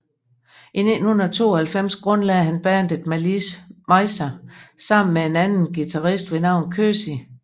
I 1992 grundlagde han bandet Malice Mizer sammen med en anden guitarist ved navn Közi